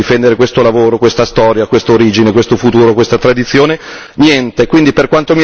Cosa c'è in questo testo per difendere questo lavoro, questa storia, questa origine, questo futuro, questa tradizione?